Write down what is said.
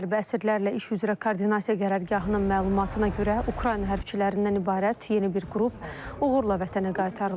Hərbi əsirlərlə iş üzrə koordinasiya qərargahının məlumatına görə, Ukrayna hərbçilərindən ibarət yeni bir qrup uğurla vətənə qaytarılıb.